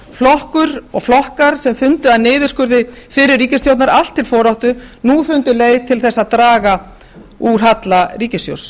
flokkur og flokkar eru fundu niðurskurði fyrri ríkisstjórn allt til foráttu nú fundið leið til þess að draga úr halla ríkissjóðs